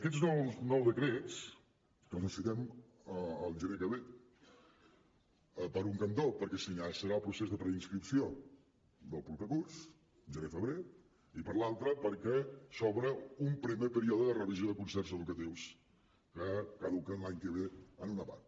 aquests nous decrets que els necessitem el gener que ve per un cantó perquè s’iniciarà el procés de preinscripció del proper curs gener febrer i per l’altre perquè s’obre un primer període de revisió de concerts educatius que caduquen l’any que ve en una part